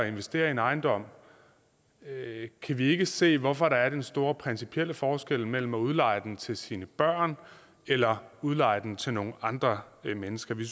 investere i en ejendom kan vi ikke se hvorfor der er den store principielle forskel mellem at udleje den til sine børn eller udleje den til nogle andre mennesker vi